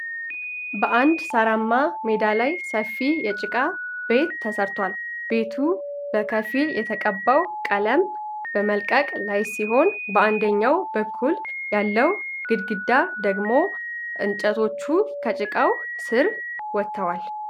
በአንድ ሳራማ ሜዳ ላይ ሰፊ የጭቃ ቤት ተሰርቷል። ቤቱ በከፊል የተቀባው ቀለም በመልቀቅ ላይ ሲሆን በአንደኛው በኩል ያለው ግድግዳ ደግሞ እንጨቶቹ ከጭቃው ስር ወጥተዋል።